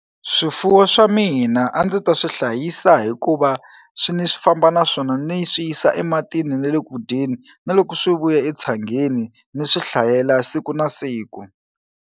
Swifuwo swa mina a ndzi ta swi hlayisa hikuva swi ni swi famba na swona ni swi yisa ematini ni le ku dyeni na loko swi vuya etshangeni ni swi hlayela siku na siku.